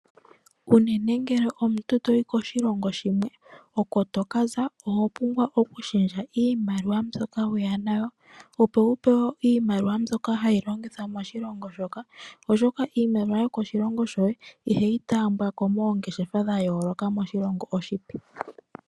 Unene ngele omuntu to yi koshilongo shimwe oko to ka za, oho pumbwa wu shendje iimaliwa mbyoka weya nayo opo wu pewe iimaliwa mbyoka hayi longithwa moshilongo shoka oshoka iimaliwa yomoshilongo shoye ihayi taambiwa ko moshilongo shoka oshipe.